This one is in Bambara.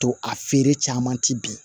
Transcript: To a feere caman ti bin